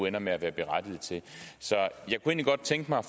ender med at være berettiget til jeg kunne godt tænke mig at